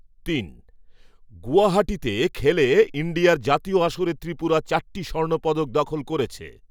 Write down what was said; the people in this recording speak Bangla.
তিন গুয়াহাটিতে খেলে ইণ্ডিয়ার জাতীয় আসরে ত্রিপুরা চারটি স্বর্ণপদক দখল করেছে।